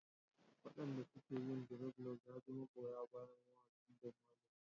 Waɗanda suke yin dreadlocks na ji magoya bayan mawaƙin Bob Marley ne.